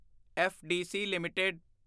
FDC LTD